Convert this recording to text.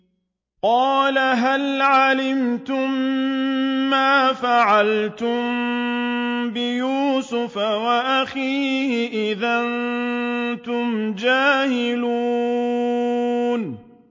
قَالَ هَلْ عَلِمْتُم مَّا فَعَلْتُم بِيُوسُفَ وَأَخِيهِ إِذْ أَنتُمْ جَاهِلُونَ